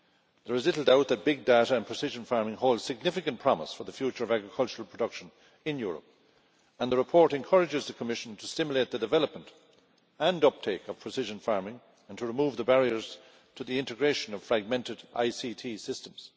There is little doubt that big data and precision farming hold significant promise for the future of agricultural production in Europe, and the report encourages the Commission to stimulate the development and uptake of precision farming and to remove the barriers to the integration of fragmented ICT systems.